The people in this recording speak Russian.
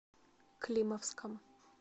климовском